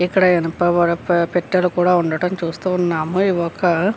ఇక్కడ ఇనప పెట్టెలో ఉండటం కూడా చూస్తున్నాము ఇవి ఒక --